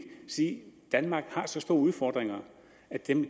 sige at danmark har så store udfordringer at de